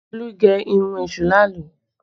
Olú gé irun èṣù làálú